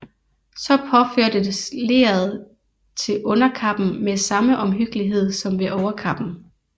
Så påførtes leret til underkappen med samme omhyggelighed som ved overkappen